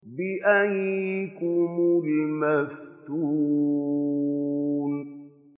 بِأَييِّكُمُ الْمَفْتُونُ